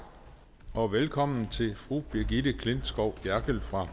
og velkommen til fru brigitte klintskov jerkel fra